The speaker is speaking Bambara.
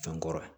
Fɛn kɔrɔ